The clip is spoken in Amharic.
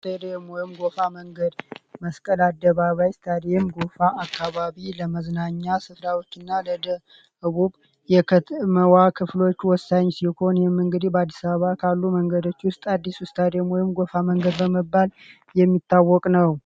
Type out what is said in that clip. ፖደም ይም ጐፋ መንገድ መስቀድ አደባባ ስታዴም ጎፋ አካባቢ ለመዝናኛ ስፍራዎች እና ለደ ዕቡብ የከተመዋ ክፍሎቹ ወሳኝ ሲኮን የምንግዲ ባአዲሳባ ካሉ መንገደች ውስጥ አዲስ ውስታአዴሞይም ጎፋ መንገድ በመባል የሚታወቅ ነው።